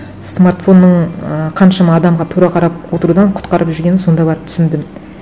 смартфонның ііі қаншама адамға тура қарап отырудан құтқарып жүргенін сонда барып түсіндім